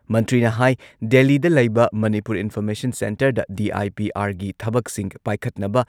ꯃꯟꯇ꯭ꯔꯤꯅ ꯍꯥꯏ ꯗꯦꯜꯂꯤꯗ ꯂꯩꯕ ꯃꯅꯤꯄꯨꯔ ꯏꯟꯐꯣꯔꯃꯦꯁꯟ ꯁꯦꯟꯇꯔꯗ ꯗꯤ.ꯑꯥꯏ.ꯄꯤ.ꯑꯥꯔꯒꯤ ꯊꯕꯛꯁꯤꯡ ꯄꯥꯏꯈꯠꯅꯕ